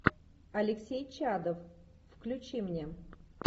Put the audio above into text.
алексей чадов включи мне